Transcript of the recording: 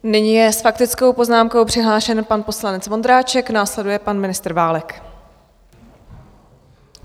Nyní je s faktickou poznámkou přihlášen pan poslanec Vondráček, následuje pan ministr Válek.